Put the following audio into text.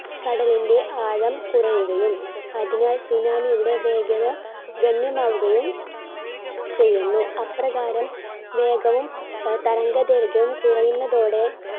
കടലിന്റെ ആഴം കുറയുകയും അതിനാൽ tsunami യുടെ വേഗത ഗണ്യമാവുകയും ചെയ്യുന്നു. അപ്രകാരം വേഗവും തരംഗദൈർഘ്യവും കുറയുന്നതോടെ